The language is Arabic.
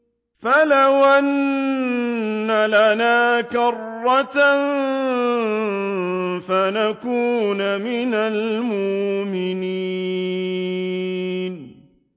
فَلَوْ أَنَّ لَنَا كَرَّةً فَنَكُونَ مِنَ الْمُؤْمِنِينَ